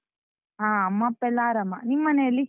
ಹಾ, ಅಮ್ಮ ಅಪ್ಪ ಎಲ್ಲ ಆರಾಮ, ನಿಮ್ಮನೇಲಿ?